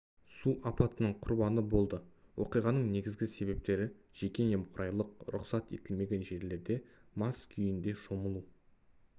су апатының құрбаны болды оқиғаның негізгі себептері жеке немқұрайлылық рұқсат етілмеген жерлерде мас күйінде шомылу